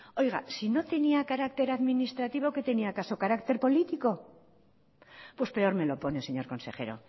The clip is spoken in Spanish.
oiga si no tenía carácter administrativo qué tenía acaso carácter político pues peor me lo pone señor consejero